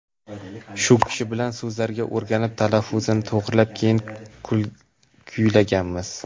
Shu kishi bilan so‘zlarini o‘rganib, talaffuzini to‘g‘rilab, keyin kuylaganmiz.